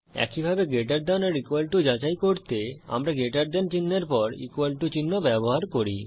একইভাবে greater than or equal to যাচাই করতে আমরা গ্রেটার দেন চিনহের পর ইকুয়াল টু চিহ্ন ব্যবহার করি